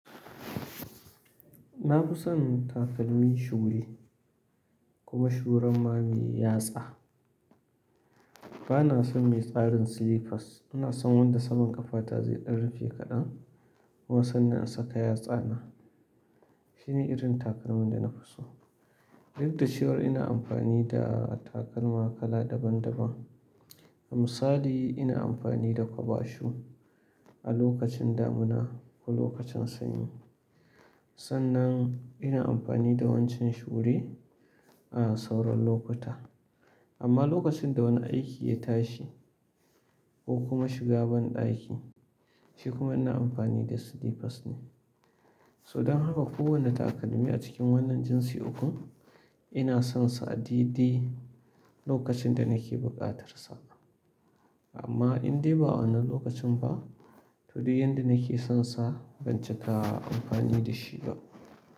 Na fi son takalmi shuɗi kuma shuɗin ma mai yatsa. Bana son mai tsarin slippers. Ina son wadda saman ƙafa ta zai ɗan rufe kaɗan kuma sannan a saka yatsa na. Shine irin takalmin da na fi so. Duk da cewar ina amfani da takalma kala daban daban. A misali ina amfani da cover shoe a lokacin damuna ko lokacin sanyi. Sannan ina amfani da wancan shuɗi a sauran lokuta. Amma lokacin da wani aiki ya tashi ko kuma shiga banɗaki, shi kuma ina amfani da slippers ne. So dan haka kowane takalmi a cikin wannan jinsi uku ina son sa a daidai lokacin da nake buƙatar sa. Amma in dai ba a wannan lokacin ba, to dai yadda nake son sa ban cika amfani da shi da.